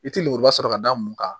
I tɛ lemuruba sɔrɔ ka d'a mun kan